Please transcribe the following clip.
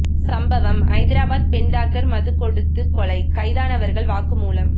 சம்பவம் ஐதராபாத் பெண் டாக்டர் மது கொடுத்து கொலை கைதானவர்கள் வாக்குமூலம்